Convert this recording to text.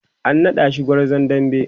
an naɗa shi gwarzon dambe